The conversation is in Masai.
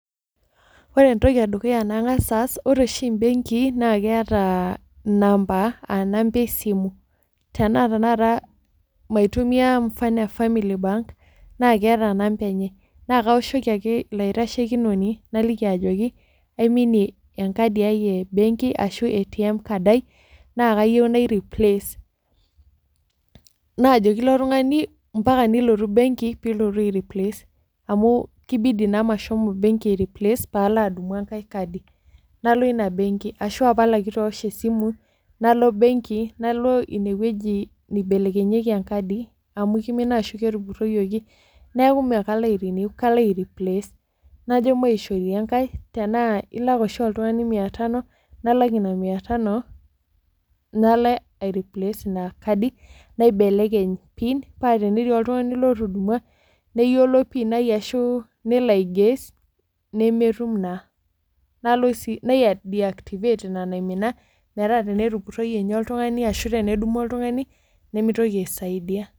Oore entoki e dukuya nang'as aas oore ooshi imbenkii naa keeta inampa aah inampa esimu. Tenaa tanakata maitumia mfano ee Family Bank naa keeta inamba eenye naa kaoshoki aake iilo aitashekinoni naliki ajoki aimnie enkadi ai embenki arashu ATM aai, naa kayieu naireplace. Naajoki ilo tung'ani mpaka nilotu benki pee ilotu aireplace, amuu kibidi naa mashomo benki aalo aireplace peyie aalo adumu enkae kadi. Nalo iina benki arashu apal aake eitu aosh esimu nalo iina benki nalo iine wueji neibelekenyieki enkadi, amuu keimina arashu ketupuroyioki. Niaku imekalo airenew, kalo aireplace. Najo maishori enkae, enaa iilak ooshi oltung'ani mia tano, nalak iina mia tano nalo aireplace iina kadi, naibelekeny pin paa tenetii oltung'ani lotudumua neyiolo PIN aai arashu nelo aiguess, nemetum naa. Naideactivate iina naimina, metaa tenetupuroyie niinye oltung'ani arashu tenedumu oltung'ani, nemeitoki aisaidia.